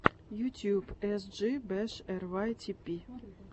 ютюб эс джи бэш эр вай ти пи